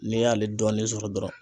N'i y'ale dɔɔnin sɔrɔ dɔrɔn